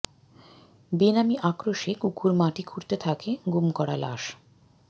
বেনামি আক্রোশে কুকুর মাটি খুঁড়তে থাকে গুম করা লাশ